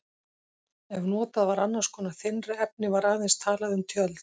Ef notað var annars konar þynnra efni var aðeins talað um tjöld.